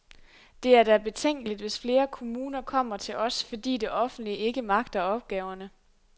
Det er da betænkeligt, hvis flere kommuner kommer til os, fordi det offentlige ikke magter opgaverne.